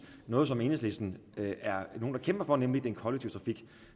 noget som enhedslisten kæmper for nemlig den kollektive trafik